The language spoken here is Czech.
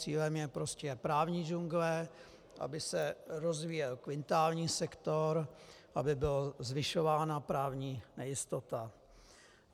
Cílem je prostě právní džungle, aby se rozvíjel kvintární sektor, aby byla zvyšována právní nejistota.